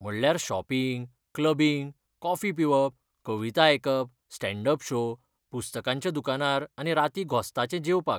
म्हणल्यार shopping, clubbing, coffee पिवप, कविता आयकप, स्टॅण्ड अप शो, पुस्तकांच्या दुकानार आनी राती घोस्ताचें जेवपाक.